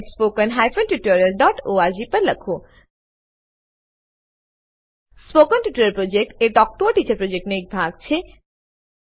spoken tutorial project talk to a teacher પ્રોજેક્ટનો એક ભાગ છે